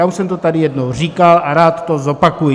Já už jsem to tady jednou říkal a rád to zopakuji.